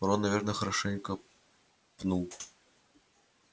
рон наверное хорошенько пнул